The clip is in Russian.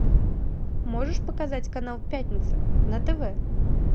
можешь показать канал пятница на тв